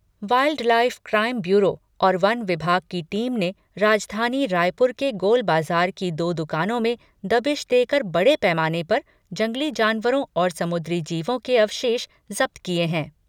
Wild life crime bureau और वन विभाग की टीम ने राजधानी रायपुर के गोलबाजार की दो दुकानों में दबिश देकर बड़े पैमाने पर जंगली जानवरों और समुद्री जीवों के अवशेष जब्त किए हैं।